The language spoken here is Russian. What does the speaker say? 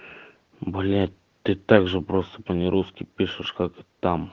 блять ты также просто по не русски пишешь как там